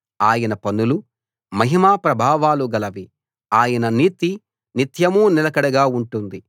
ఆయన పనులు మహిమా ప్రభావాలు గలవి ఆయన నీతి నిత్యం నిలకడగా ఉంటుంది